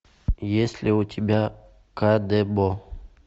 есть ли у тебя кадебо